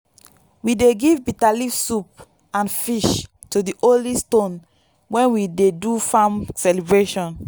we dey give bitterleaf soup and fish to the holy stone when we dey do farm celebration.